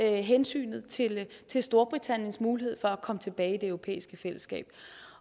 hensynet til storbritanniens mulighed for at komme tilbage i det europæiske fællesskab